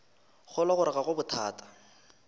kgolwa gore ga go bothata